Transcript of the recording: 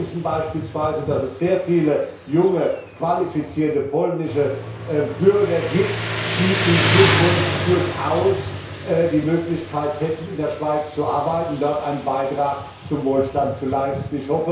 Wir wissen beispielsweise, dass es sehr viele junge, qualifizierte polnische Bürger gibt, die in Zukunft durchaus die Möglichkeit hätten, in der Schweiz zu arbeiten, dort einen Beitrag zum Wohlstand zu leisten.